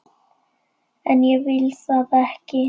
En ég vil það ekki.